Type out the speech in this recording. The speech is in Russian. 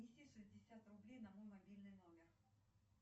афина опять она сделай так что меня нет